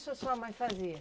Isso a sua mãe fazia?